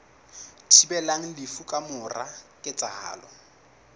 thibelang lefu ka mora ketsahalo